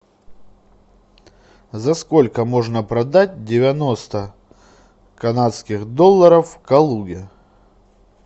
за сколько можно продать девяносто канадских долларов в калуге